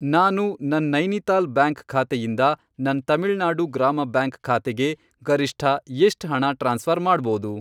ನಾನು ನನ್ ನೈನಿತಾಲ್ ಬ್ಯಾಂಕ್ ಖಾತೆಯಿಂದ ನನ್ ತಮಿಳ್ನಾಡು ಗ್ರಾಮ ಬ್ಯಾಂಕ್ ಖಾತೆಗೆ ಗರಿಷ್ಠ ಎಷ್ಟ್ ಹಣ ಟ್ರಾನ್ಸ್ಫ಼ರ್ ಮಾಡ್ಬೋದು?